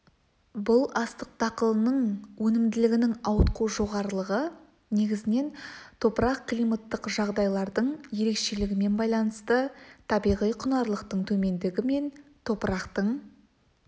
бұл астық дақылының өнімділігінің ауытқу жоғарылығы негізінен топырақ-климаттық жағдайлардың ерекшелігімен байланысты табиғи құнарлылықтың төмендігі мен топырақтың